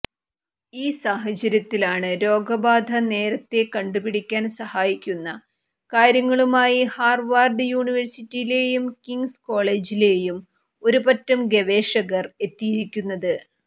ഈ സാഹചര്യത്തിലാണ് രോഗബാധ നേരത്തേ കണ്ടുപിടിക്കാൻ സഹായിക്കുന്ന കാര്യങ്ങളുമായി ഹാർവാർഡ് യൂണിവേഴ്സിറ്റിയിലേയും കിങ്സ് കോളേജിലേയും ഒരുപറ്റം ഗവേഷകർ എത്തിയിരിക്കുന്നത്